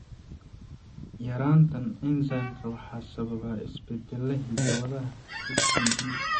Yaraantan enzymka waxaa sababa isbeddellada hidda-wadaha HPD.